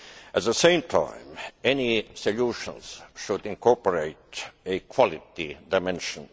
At the same time, any solutions should incorporate a quality dimension.